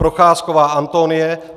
Procházková Antonie